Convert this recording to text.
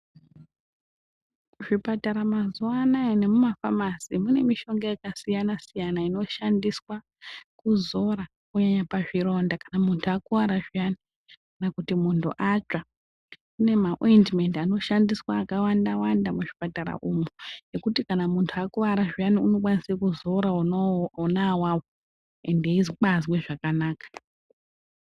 Muzvipatara mazuwa anayi nemumafamasi mune mishonga yakasiyana siyana inoshandiswa kuzora kunyanya pazvironda kana munthu akuwara zviyani kana kuti munthu atsva. Kune maoindimendi anoshandiswa akawanda wanda muzvipatara umwu ekuti kana munthu akuwara zviyani unokwanise kuzora ona awawo ende eibazwe zvakanaka.